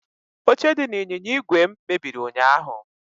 Oche dị n'ịnyịnya igwe m mebiri ụnyaahụ.